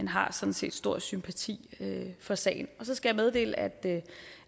har sådan set stor sympati for sagen så skal jeg meddele at